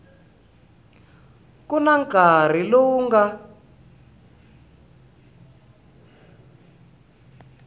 ku na nkarhi lowu nga